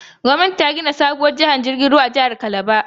Gwamnati ta gina sabuwar tashar ruwa a jihar Calabar.